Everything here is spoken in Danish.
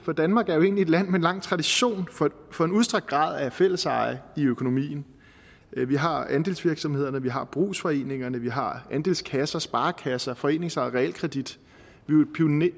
for danmark er jo et land med en lang tradition for en udstrakt grad af fælleseje i økonomien vi har andelsvirksomheder vi har brugsforeninger vi har andelskasser sparekasser foreningsejet realkredit